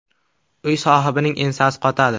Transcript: Uy sohibining ensasi qotadi.